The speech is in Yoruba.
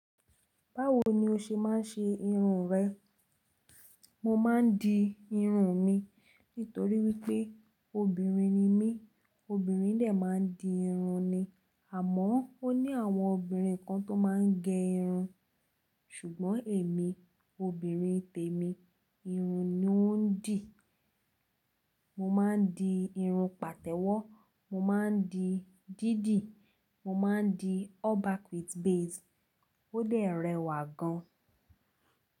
Báwo ni o ṣe máa ń ṣe irun rẹ? Mo máa ń di irun mi nítorí wípé obìnrin ni mí. Obìnrin dẹ́ máa ń di irun ni àmọ́ ó ní àwọn obìnrin kan tó máa ń gẹ irun. Ṣùgbọ́n èmi obìnrin tèmi, irun ni ó ń dì. Mo máa ń di irun pàtẹ́wọ́, mo máa ń di dídì, mo máa ń di all back with base. Ó dè rẹwà gan.